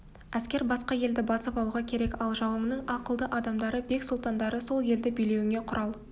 әскер басқа елді басып алуға керек ал жауыңның ақылды адамдары бек-сұлтандары сол елді билеуіңе құрал